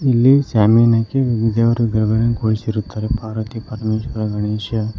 ಇಲ್ಲಿ ಶಾಮಿಯಾನ ಹಾಕಿ ದೇವರನ್ನು ಕೂರಿಸಿರುತ್ತಾರೆ ಪಾರ್ವತಿ ಪರಮೇಶ್ವರ ಗಣೇಶ.